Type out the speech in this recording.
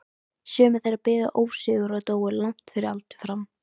Sumir þeirra biðu ósigur og dóu langt fyrir aldur fram.